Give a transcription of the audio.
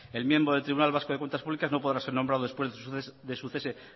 el miembro del tribunal vasco de cuentas públicas no podrá ser nombrado después de su cese